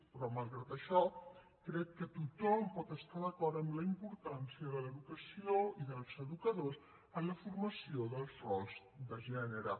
però malgrat això crec que tothom pot estar d’acord en la importància de l’educació i dels educadors en la formació dels rols de gènere